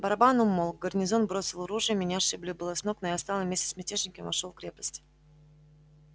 барабан умолк гарнизон бросил ружья меня сшибли было с ног но я встал и вместе с мятежниками вошёл в крепость